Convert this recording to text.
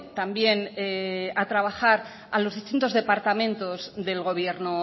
también a trabajar a los distintos departamentos del gobierno